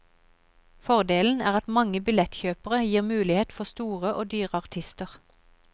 Fordelen er at mange billettkjøpere gir mulighet for store og dyre artister.